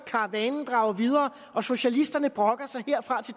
karavanen drager videre og socialisterne brokker sig herfra